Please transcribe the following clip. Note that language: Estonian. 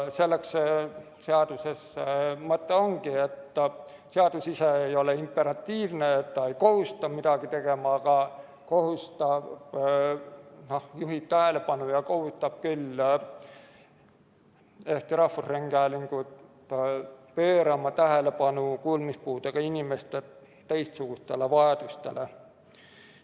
Selles see seaduse mõte ongi, et seadus ise ei ole imperatiivne, ta ei kohusta midagi tegema, aga juhib tähelepanu ja kohustab Eesti Rahvusringhäälingut pöörama tähelepanu kuulmispuudega inimeste teistsugustele vajadustele.